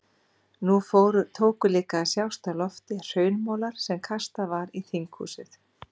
Nú tóku líka að sjást á lofti hraunmolar sem kastað var í þinghúsið.